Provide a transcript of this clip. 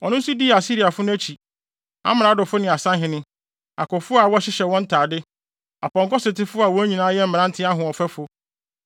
Ɔno nso dii Asiriafo no akyi; amradofo ne asahene, akofo a wɔhyehyɛ wɔn ntade, apɔnkɔsotefo a wɔn nyinaa yɛ mmerante ahoɔfɛfo.